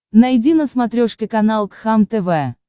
найди на смотрешке канал кхлм тв